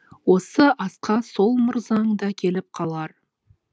осы асқа сол мырзаң да келіп қалар